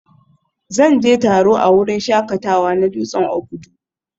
Zan je taro a wurin shakatawa na dutsen Obudu